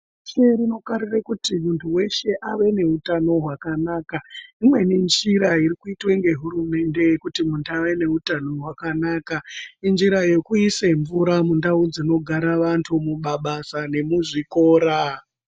Reshe rinokarire kuti muntu weshe ave neutano hwakanaka imweni njira irikuitwe ngehurumende kuti muntu ave neutano hwakanaka injira yekuise mvura mundau dzinogara vantu mumabasa nemuzvikora